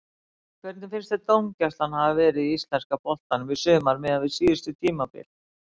Hvernig finnst þér dómgæslan hafa verið í íslenska boltanum í sumar miðað við síðustu tímabil?